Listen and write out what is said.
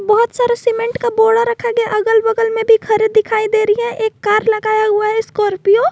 बहुत सारा सीमेंट का बोड़ा रखा गया अगल बगल में भी घरे दिखाई दे रही है एक कार लगाया हुआ है स्कॉर्पियो ।